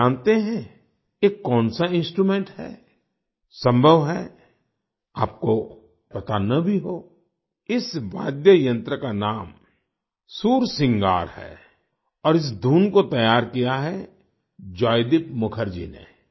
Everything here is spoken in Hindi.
क्या आप जानते हैं ये कौन सा इंस्ट्रूमेंट है संभव है आपको पता न भी हो इस वाद्यमंत्र का नाम सुरसिंगार है और इस धुन को तैयार किया है जॉयदीप मुखर्जी ने